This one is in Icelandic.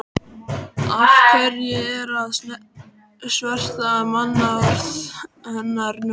Af hverju að sverta mannorð hennar nú?